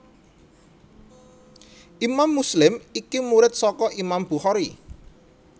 Imam Muslim iki murid saka Imam Bukhari